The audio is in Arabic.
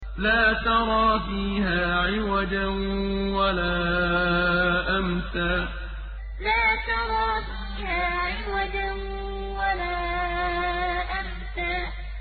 لَّا تَرَىٰ فِيهَا عِوَجًا وَلَا أَمْتًا لَّا تَرَىٰ فِيهَا عِوَجًا وَلَا أَمْتًا